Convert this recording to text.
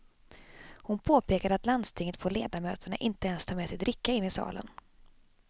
Hon påpekade att i landstinget får ledamöterna inte ens ta med sig dricka in i salen.